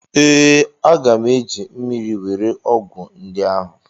Ee, aga m eji mmiri were ọgwụ ndị ahụ.